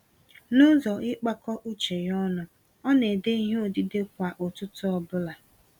Nụzọ ịkpakọ uche ya ọnụ, ọ nédè ìhè odide kwá ụtụtụ ọbula.